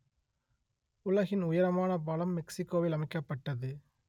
உலகின் உயரமான பாலம் மெக்சிக்கோவில் அமைக்கப்பட்டது